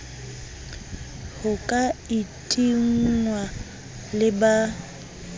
ho ka iteanngwa le ba